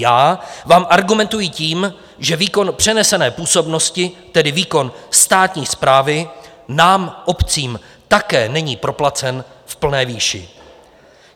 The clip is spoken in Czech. Já vám argumentují tím, že výkon přenesené působnosti, tedy výkon státní správy, nám obcím také není proplacen v plné výši.